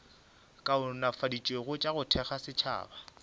kaonafaditšwego ka go thekga setšhaba